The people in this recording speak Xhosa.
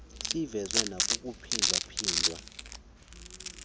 sivezwe nakukuphinda phindwa